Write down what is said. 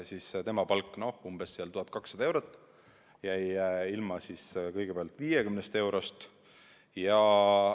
Tema palk on umbes 1200 eurot ja ta jäi ilma kõigepealt 50 eurost.